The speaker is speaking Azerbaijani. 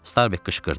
Starbek qışqırdı.